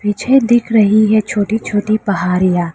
पीछे दिख रही है छोटी छोटी पहाड़ियां।